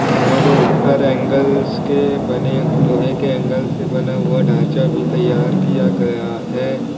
और ऊपर एंगल से बने लोहे के एंगल से बना हुआ ढांचा भी तैयार किया गया है।